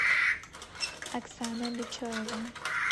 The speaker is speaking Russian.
оксана бечоева